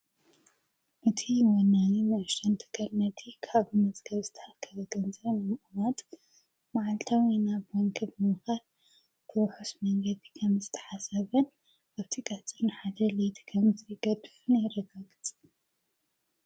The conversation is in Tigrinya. እቲ ወናኒ ንእሽተን ትካል ካብ መጽገብስታል ከገንዘን መኡዋጥ መዓልታው ናብ ባንክ ብምኻል ብዉሑስ መንገዲ ኸምስ ተሓሰበን ኣብቲ ቐጽርን ሓደልቲ ኸምዘገድፍን የረጋግፅ።